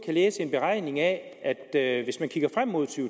læse en beregning af at hvis vi kigger frem mod to